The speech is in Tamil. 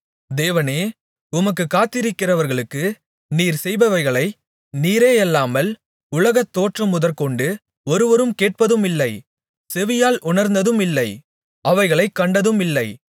தேவனே உமக்குக் காத்திருக்கிறவர்களுக்கு நீர் செய்பவைகளை நீரேயல்லாமல் உலகத்தோற்றமுதற்கொண்டு ஒருவரும் கேட்டதுமில்லை செவியால் உணர்ந்ததுமில்லை அவைகளைக் கண்டதுமில்லை